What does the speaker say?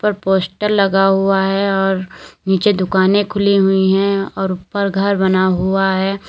Poster लगा हुआ है और नीचे दुकाने खुली हुई हैं और ऊपर घर बना हुआ है।